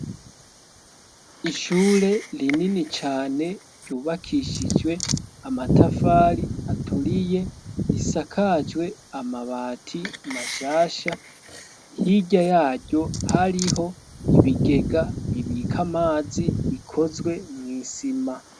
Ishure rinini cane ryubakishijwe amatafari aturiye risakajwe amabati mashasha hirya yaryo hariho ibigega bibike amazi bikozwe mw'isima.